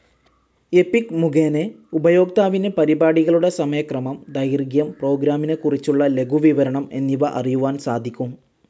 എപിഗ് മുഖേന ഉപയോക്താവിന് പരിപാടികളുടെ സമയക്രമം, ദൈർഖ്യം, പ്രോഗ്രാമിനെക്കുറിച്ചുള്ള ലഖുവിവരണം എന്നിവ അറിയുവാൻ സാധിക്കും.